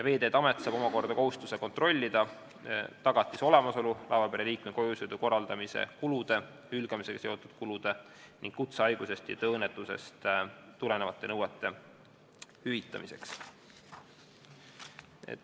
Veeteede Amet saab omakorda kohustuse kontrollida tagatise olemasolu laevapere liikme kojusõidu korraldamise kulude, hülgamisega seotud kulude ning kutsehaigusest ja tööõnnetusest tulenevate nõuete hüvitamiseks.